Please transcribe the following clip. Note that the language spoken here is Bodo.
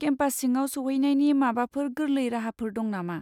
केम्पास सिङाव सौहैनायनि माबाफोर गोर्लै राहाफोर दं नामा?